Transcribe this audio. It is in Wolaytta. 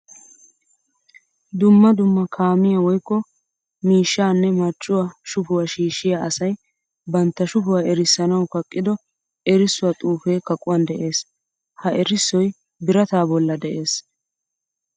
Dumma dumma kaamiya woykko miishshanne marccuwa shufuwa shiishshiya asay bantta shufuwa erissanawu kaqqiddo erissuwa xuufe kaqquwan de'ees. Ha erissoy birata bolla de'ees.